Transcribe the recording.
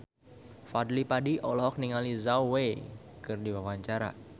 Fadly Padi olohok ningali Zhao Wei keur diwawancara